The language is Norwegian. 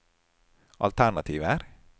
alternativer